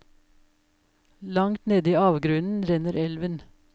Langt nede i avgrunnen renner elven.